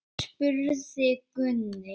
spurði Gunni.